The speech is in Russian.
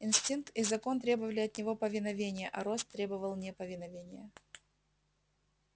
инстинкт и закон требовали от него повиновения а рост требовал неповиновения